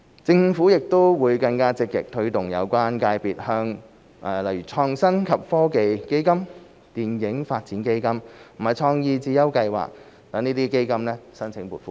政府亦會更積極推動有關界別向例如創新及科技基金、電影發展基金和創意智優計劃這些基金申請撥款。